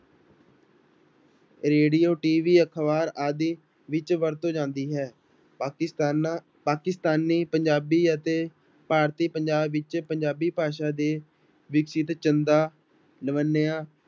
radio TV ਅਖ਼ਬਾਰ ਆਦਿ ਵਿੱਚ ਵਰਤੋਂ ਜਾਂਦੀ ਹੈ, ਪਾਕਿਸਤਾਨਾਂ ਪਾਕਿਸਤਾਨੀ ਪੰਜਾਬੀ ਅਤੇ ਭਾਰਤੀ ਪੰਜਾਬ ਵਿੱਚ ਪੰਜਾਬੀ ਭਾਸ਼ਾ ਦੇ ਚੰਦਾ ਲਵੰਨਿਆ